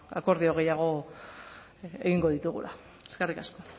akordio gehiago egingo ditugula eskerrik asko